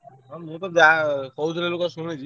ମୁଁ ତ ଯା କହୁଥିଲେ ଲୋକ ଶୁଣିଚି।